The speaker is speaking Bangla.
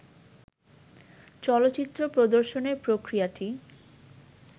চলচ্চিত্র প্রদর্শনের প্রক্রিয়াটি